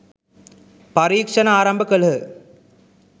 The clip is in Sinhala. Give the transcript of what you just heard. පරීක්ෂණ ආරම්භ කළහ